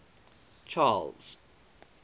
charles